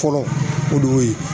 Fɔlɔ o de y'o ye